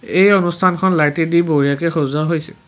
এই অনুষ্ঠানখন লাইটেদি বঢ়িয়াকে সজোৱা হৈছে।